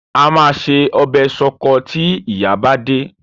A máa se ọbẹ̀ ṣọkọ tí ìyá bá dé.